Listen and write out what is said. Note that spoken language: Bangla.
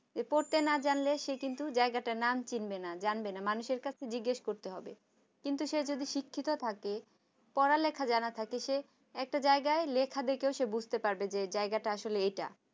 পড়তে না জানলে মানুষ কিন্তু সেই জায়গাটার নাম চিনবে না জানবে না এবং তাকে অন্য মানুষকে জিজ্ঞাসা করতে হবে কিন্তু সে যদি শিক্ষিত থাকে পড়ালেখা জানে থাকে একটা জায়গায় লেখা দেখে সে বুঝতে পারবে যে এই জায়গাটা আসলে এটা